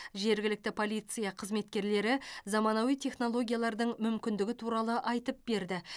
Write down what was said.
жергілікті полиция қызметкерлері заманауи технологиялардың мүмкіндігі туралы айтып берді